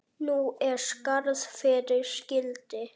Nú er skarð fyrir skildi.